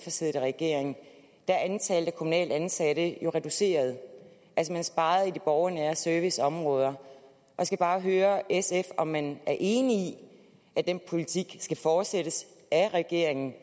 har siddet i regering er antallet af kommunalt ansatte jo reduceret altså man sparede på de borgernære serviceområder jeg skal bare høre sf om man er enig i at den politik skal fortsættes af regeringen